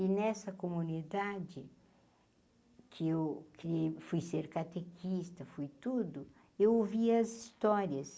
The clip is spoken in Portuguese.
E nessa comunidade, que eu que fui ser catequista, fui tudo, eu ouvia as histórias,